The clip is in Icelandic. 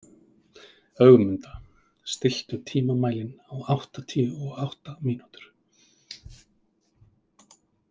Ögmunda, stilltu tímamælinn á áttatíu og átta mínútur.